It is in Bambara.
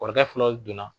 Kɔrɔkɛ filaw donna